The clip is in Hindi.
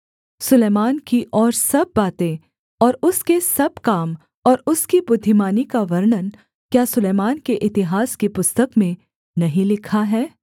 सुलैमान की और सब बातें और उसके सब काम और उसकी बुद्धिमानी का वर्णन क्या सुलैमान के इतिहास की पुस्तक में नहीं लिखा है